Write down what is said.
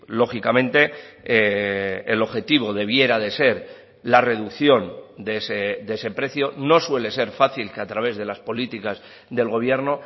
lógicamente el objetivo debiera de ser la reducción de ese precio no suele ser fácil que a través de las políticas del gobierno